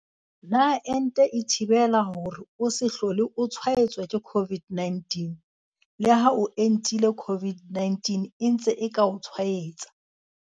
Potso- Na ente e thibela hore o se hlole o tshwaetswa ke COVID-19? Leha o entile COVID-19 e ntse e ka o tshwaetsa.